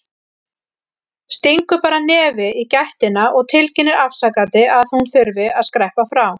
Stingur bara nefi í gættina og tilkynnir afsakandi að hún þurfi að skreppa frá.